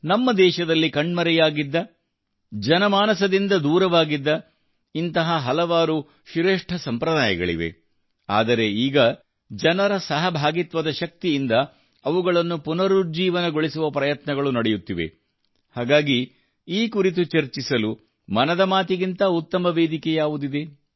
ನಮ್ಮ ದೇಶದಲ್ಲಿ ಕಣ್ಮರೆಯಾಗಿದ್ದ ಜನಮಾನಸದಿಂದ ದೂರವಾಗಿದ್ದ ಇಂತಹ ಹಲವಾರು ಶ್ರೇಷ್ಠ ಸಂಪ್ರದಾಯಗಳಿವೆ ಆದರೆ ಈಗ ಸಾರ್ವಜನಿಕ ಸಹಭಾಗಿತ್ವದ ಶಕ್ತಿಯಿಂದ ಅವುಗಳನ್ನು ಪುನರುಜ್ಜೀವನಗೊಳಿಸುವ ಪ್ರಯತ್ನಗಳು ನಡೆಯುತ್ತಿವೆ ಹಾಗಾಗಿ ಈ ಕುರಿತು ಚರ್ಚಿಸಲು ಮನದ ಮಾತಿಗಿಂತ ಉತ್ತಮ ವೇದಿಕೆ ಯಾವುದಿದೆ